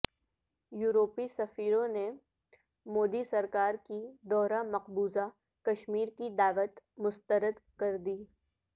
یورپی سفیروں نے مودی سرکار کی دورہ مقبوضہ کشمیر کی دعوت مسترد کردی